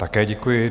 Také děkuji.